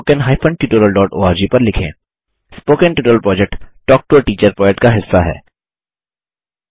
spoken tutorial project talk to a teacher project का हिस्सा है